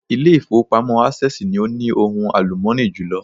Ilé ìfowópamọ́ Access ni o ní ohun àlùmọ́ọ́nì jùlọ